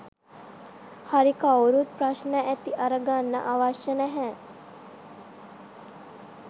හරි කවුරුත් ප්‍රශ්න ඇති අර ගන්න අවශ්‍ය නෑ.